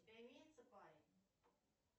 у тебя имеется парень